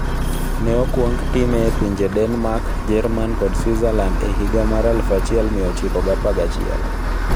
Ne okwong time e pinje Denmark, Jerman, kod Switzerland e higa mar 1911.